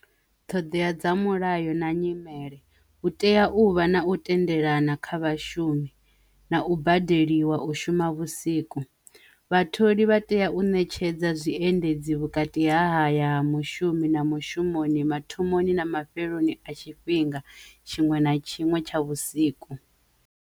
Ṱhoḓea dza mulayo na nyimele u tea u vha na u tendelana kha vhashumi na u badeliwa u shuma vhusiku vhatholi vha tea u ṋetshedza zwiendedzi vhukati ha ya mushumi na mushumoni mathomoni na mafheloni a tshifhinga tshiṅwe na tshiṅwe tsha vhusiku.